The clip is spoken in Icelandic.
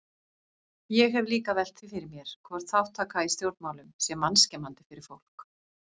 Ég hef líka velt því fyrir mér hvort þátttaka í stjórnmálum sé mannskemmandi fyrir fólk?